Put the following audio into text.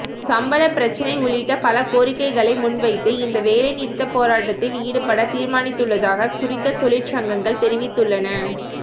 சம்பள பிரச்சினை உள்ளிட்ட பல கோரிக்கைகளை முன்வைத்து இந்த வேலைநிறுத்த போராட்டத்தில் ஈடுபட தீர்மானித்துள்ளதாக குறித்த தொழிற்சங்கங்கள் தெரிவித்துள்ளன